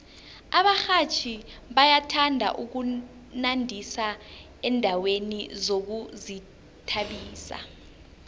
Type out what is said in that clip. abarhatjhi bayathanda ukunandisa endaweni zokuzithabisa